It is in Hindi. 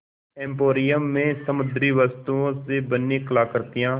एंपोरियम में समुद्री वस्तुओं से बनी कलाकृतियाँ